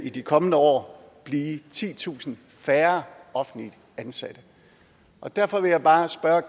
i de kommende år blive titusind færre offentligt ansatte derfor vil jeg bare spørge